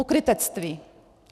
Pokrytectví.